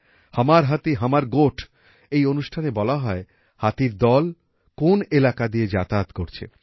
হমর হাতিহমর গোঠ এই অনুষ্ঠানে বলা হয় হাতির দল কোন এলাকা দিয়ে যাতায়াত করছে